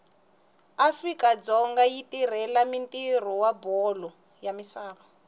afrika dzonga yirhurhela ntiro wabholo yamisava